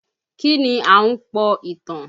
Kí ni Ahunpọ̀ ìtàn?